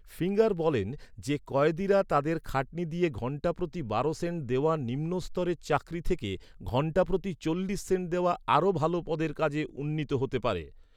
Finger বলেন যে, কয়েদিরা তাদের খাটনি দিয়ে ঘণ্টা প্রতি বারো সেন্ট দেওয়া নিম্নস্তরের চাকরি থেকে ঘণ্টাপ্রতি চল্লিশ সেন্ট দেওয়া আরও ভাল পদের কাজে উন্নীত হতে পারে।